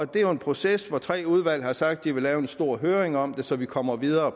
det er jo en proces hvor tre udvalg har sagt at de vil have en stor høring om det så vi kommer videre